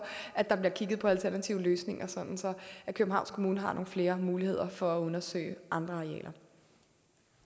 at der bliver kigget på alternative løsninger sådan at københavns kommune har nogle flere muligheder for at undersøge andre